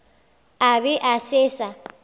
a be a se sa